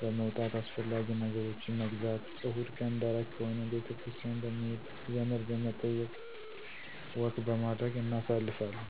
በመዉጣት አስፈላጊ ነገሮችን መግዛት። እሁድቀን ደረቅ ከሆነ ቤተክርስቲያን በመሄድ፣ ዘመድበመጠየቅ፣ ወክበማድረግ እናሳልፋለን።